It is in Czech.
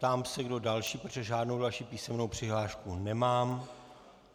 Ptám se, kdo další, protože žádnou další písemnou přihlášku nemám.